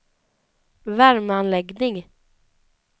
värmeanläggning